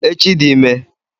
Echi dị ime!!!